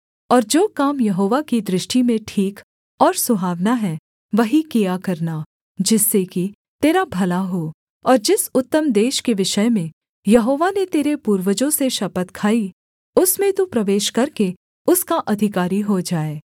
और जो काम यहोवा की दृष्टि में ठीक और सुहावना है वही किया करना जिससे कि तेरा भला हो और जिस उत्तम देश के विषय में यहोवा ने तेरे पूर्वजों से शपथ खाई उसमें तू प्रवेश करके उसका अधिकारी हो जाए